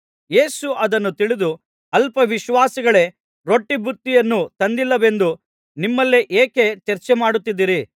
ಯೇಸು ಅದನ್ನು ತಿಳಿದು ಅಲ್ಪ ವಿಶ್ವಾಸಿಗಳೇ ರೊಟ್ಟಿ ಬುತ್ತಿಯನ್ನು ತಂದಿಲ್ಲವೆಂದು ನಿಮ್ಮಲ್ಲೇ ಏಕೆ ಚರ್ಚೆಮಾಡುತ್ತಿದ್ದೀರಿ